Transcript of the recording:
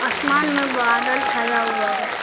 आसमान में बादल छाया हुआ है।